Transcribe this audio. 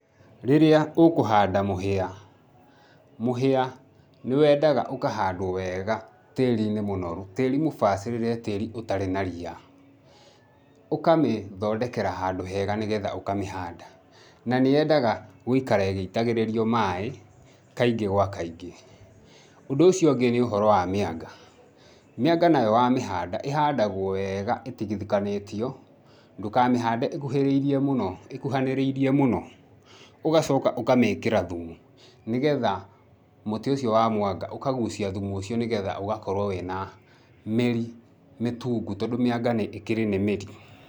Rĩrĩa ũkũhanda mũhĩa, mũhĩa nĩ wendaga ũkahandwo wega tĩĩri-inĩ mũnoru, tĩĩri mũbacĩrĩre, tĩĩri ũtarĩ na ria, ũkamĩthondekera handũ hega nĩgetha ũkamĩhanda, na nĩyendaga gũikara ĩgĩitagĩrĩrio maĩ kaingĩ gwa kaingĩ. Ũndũ ũcio ũngĩ nĩ ũhoro wa mĩanga, mĩanga nayo wamĩhanda ĩhandagwo weega ĩtigithĩkanĩtio, ndũkamĩhande ĩkuhĩrĩirie mũno, ĩkuhanĩrĩirie mũno, ũgacoka ũkamĩkĩra thumu nĩgetha mũtĩ ũcio wa mwanga ũkagucia thumu ũcio nĩgetha ũgakorwo wĩ na mĩri mĩtungu tondũ mĩanga nĩ ĩkĩrĩ nĩ mĩri.